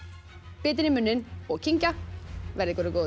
bitann í munninn og kyngja verði ykkur að góðu